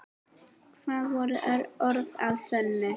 Það voru orð að sönnu.